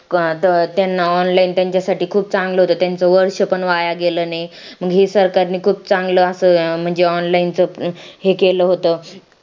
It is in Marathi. त्यांना online त्यांच्यासाठी खूप चांगलं होतं त्यांचं वर्ष पण वाया गेलं नाही मग हे सरकारने खूप चांगलं असं म्हणजे online च हे केलं होतं